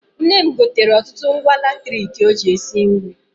Nne m gotere ọtụtụ ngwa latriki ọ ji esi nri.